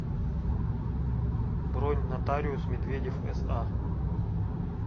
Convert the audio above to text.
бронь нотариус медведев са